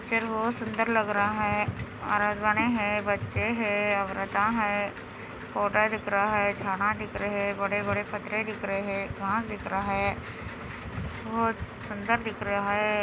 Picture बहुत सुन्दर लग रहा हैं हैं बच्चें हैं औरता हैं फोटो दिख रहा हैं छाना दिख रहा हैं बड़े बड़े पत्थरे दिख रहे हैं दिख रहा हैं बहुत सुन्दर दिख रहा हैं।